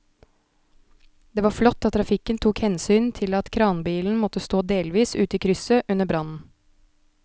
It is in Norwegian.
Det var flott at trafikken tok hensyn til at kranbilen måtte stå delvis ute i krysset under brannen.